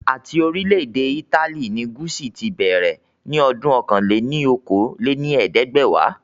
Ati orilẹ ede Italy ni Gucci ti bẹrẹ ni ọdún ọ̀kan-lé-ní-okòó lé ní ẹ̀ẹ́dẹ́gbẹ́wa